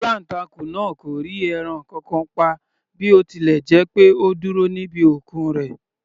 Aláǹtakùn náà kò rí ẹran kankan pa bí ó tilẹ̀ jẹ́ pé ó dúró níbi okùn rẹ̀.